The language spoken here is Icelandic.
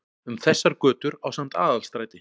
Um þessar götur ásamt Aðalstræti